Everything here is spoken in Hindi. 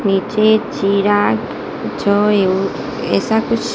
नीचे चिराग जो यु ऐसा कुछ--